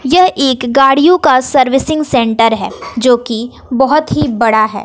यह एक गाड़ियों का सर्विसिंग सेंटर है जोकी बहोत ही बड़ा है।